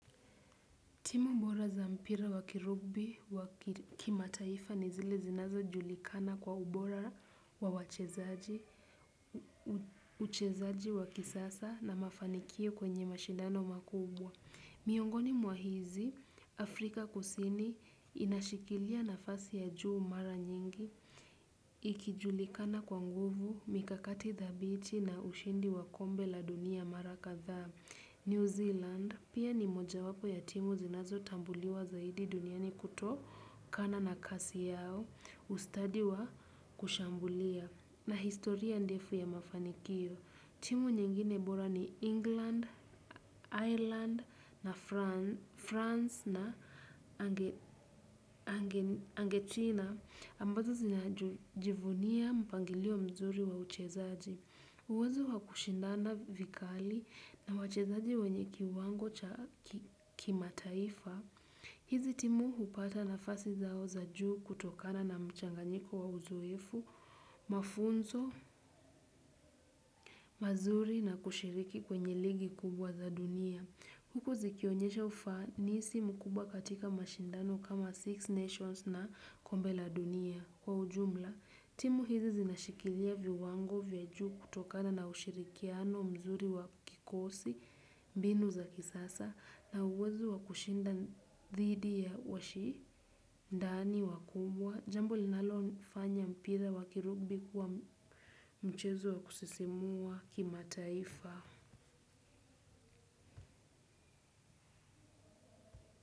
Timu mbora za mpira wa kirubi wa kimataifa ni zile zinazo julikana kwa ubora wa wachezaji wa kisasa na mafanikio kwenye mashindano makubwa. Miongoni mwa hizi, Afrika kusini inashikilia nafasi ya juu mara nyingi. Ikijulikana kwa nguvu, mikakati dhabiti na ushindi wa kombe la dunia mara kadhaa. New Zealand pia ni moja wapo ya timu zinazo tambuliwa zaidi duniani kutokana na kasi yao, ustadi wa kushambulia na historia ndefu ya mafanikio. Timu nyingine bora ni England, Ireland na France na Argentina ambazo zinajivunia mpangilio mzuri wa uchezaji. Uwezo wa kushindana vikali na wachezaji wenye kiwango cha kimataifa, hizi timu hupata nafasi zao za juu kutokana na mchanganyiko wa uzoefu, mafunzo, mazuri na kushiriki kwenye ligi kubwa za dunia. Huku zikionyesha ufanisi mkubwa katika mashindano kama Six Nations na kombe la dunia. Kwa ujumla, timu hizi zinashikilia viwango vya juu kutokana na ushirikiano mzuri wa kikosi, mbinu za kisasa, na uwezo wa kushinda dhidi ya washi ndani, wakubwa, jambo linalo fanya mpira wa kirugbi kuwa mchezo wa kusisimua kimataifa.